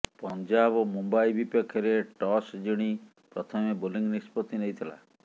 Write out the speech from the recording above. ପଂଜାବ ମୁମ୍ବାଇ ବିପକ୍ଷରେ ଟସ୍ ଜିଣି ପ୍ରଥମେ ବୋଲିଂ ନିଷ୍ପତ୍ତି ନେଇଥିଲା